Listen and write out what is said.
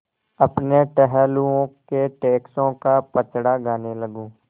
अपने टहलुओं के टैक्सों का पचड़ा गाने लगूँ